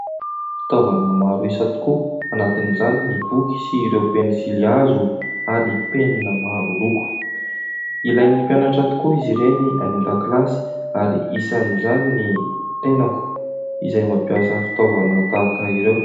Fitaovana maro isa tokoa anatin'izany ny boky sy ireo pensily hazo ary penina maro loko. Ilain'ny mpianatra tokoa izy ireny any an-dakilasy ary isan'izany ny tenako izay mampiasa fitaovana tahaka ireo.